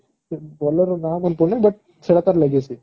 ଫିର bowler ର ନା ମାନେ ପଡୁନି ହେଲେ but ସେଟ ତାର legacy